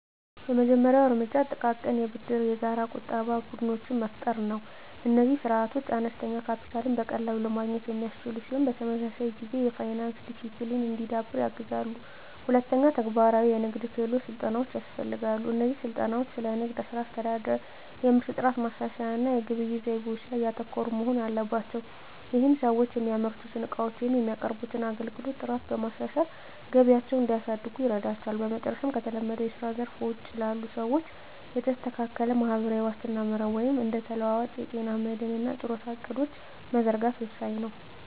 የመጀመሪያው እርምጃ ጥቃቅን የብድርና የጋራ ቁጠባ ቡድኖችን መፍጠር ነው። እነዚህ ስርዓቶች አነስተኛ ካፒታልን በቀላሉ ለማግኘት የሚያስችሉ ሲሆን፣ በተመሳሳይ ጊዜ የፋይናንስ ዲሲፕሊን እንዲዳብር ያግዛሉ። ሁለተኛ፣ ተግባራዊ የንግድ ክህሎት ስልጠናዎች ያስፈልጋሉ። እነዚህ ስልጠናዎች ስለ ንግድ ሥራ አስተዳደር፣ የምርት ጥራት ማሻሻያ እና የግብይት ዘይቤዎች ላይ ያተኮሩ መሆን አለባቸው። ይህም ሰዎች የሚያመርቱትን ዕቃዎች ወይም የሚያቀርቡትን አገልግሎት ጥራት በማሻሻል ገቢያቸውን እንዲያሳድጉ ይረዳቸዋል። በመጨረሻም፣ ከተለመደው የስራ ዘርፍ ውጪ ላሉ ሰዎች የተስተካከለ ማህበራዊ ዋስትና መረብ (እንደ ተለዋዋጭ የጤና መድህን እና የጡረታ ዕቅዶች) መዘርጋት ወሳኝ ነው።